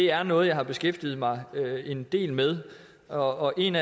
er noget jeg har beskæftiget mig en del med og en